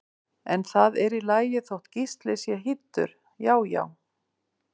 En það er í lagi þótt Gísli sé hýddur, já já!